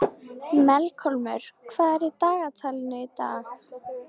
Melkólmur, hvað er í dagatalinu í dag?